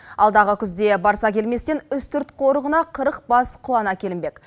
алдағы күзде барсакелместен үстірт қорығына қырық бас құлан әкелінбек